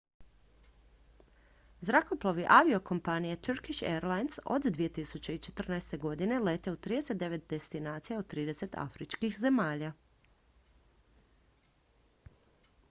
zrakoplovi aviokompanije turkish airlines od 2014. godine lete u 39 destinacija u 30 afričkih zemalja